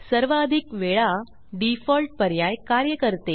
सर्वाधिक वेळा डिफॉल्ट पर्याय कार्य करते